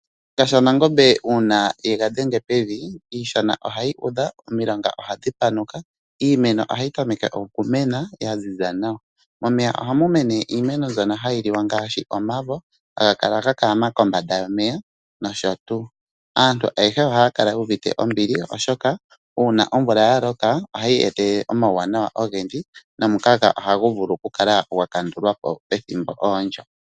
Shiyenga shaNangombe uuna ye gadhenge pevi iishana ohayi udha, omilonga ohadhi panuka, iimeno ohayi tameke okumena ya ziza nawa. Momeya ohamu mene iimeno mbyono hayi liwa ngaashi omavo haga kala ga kalama kombanda yomeya nosho tu. Aantu ayehe ohaya kala yu uvite ombili, oshoka uuna omvula ya loka ohayi etelele omauwanawa ogendji nomukaga ohagu vulu okukala gwakandulwa po pethimbo ondyo.